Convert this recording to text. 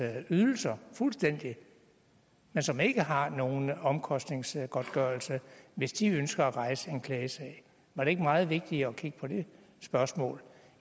ydelser fuldstændig men som ikke har nogen omkostningsgodtgørelse hvis de ønsker at rejse en klagesag var det ikke meget vigtigere at kigge på det spørgsmål